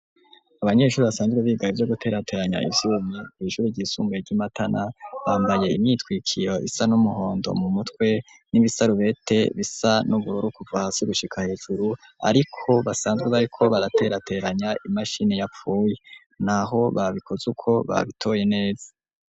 Abanyeshuri basanzwe biga ivyoguterateranya ivyuma kw'ishuri ry'isumuye ry'Imatana, bambaye imyitwikiro isa n'umuhondo mu mutwe n'ibisarubete bisa n'ubururu kuva hasi gushika hejuru ariko basanzwe bariko baraterateranya imashini yapfuye, naho babikoze uko babitoye neza.